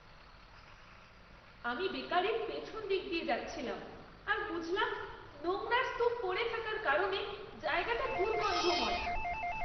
আমি বেকারির পিছনদিক দিয়ে যাচ্ছিলাম আর বুঝলাম নোংরার স্তূপ পড়ে থাকার কারণে জায়গাটা দুর্গন্ধময়।